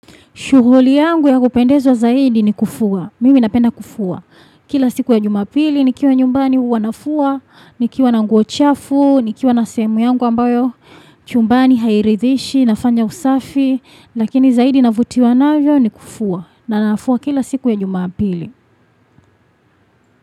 Shughuli yangu ya kupendezwa zaidi ni kufua, mimi napenda kufua. Kila siku ya jumapili nikiwa nyumbani huwa nafua, nikiwa na nguo chafu, nikiwa na sehemu yangu ambayo chumbani hairithishi, nafanya usafi, lakini zaidi navutiwa navyo ni kufua na nafua kila siku ya jumapili.